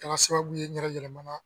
Kɛra sababu ye n yɛrɛ yɛlɛmana.